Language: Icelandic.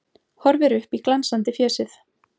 Horfir upp í glansandi fésið.